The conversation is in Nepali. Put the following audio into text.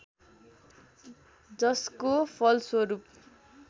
जसको फलस्वरूप